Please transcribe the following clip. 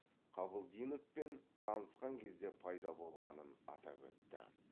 қабылдиновпен танысқан кезде пайда болғанын атап өтті